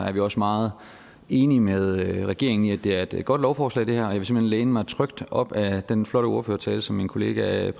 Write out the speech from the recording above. er vi også meget enige med regeringen i at det her er et godt lovforslag og jeg vil simpelt hen læne mig trygt op ad den flotte ordførertale som min kollega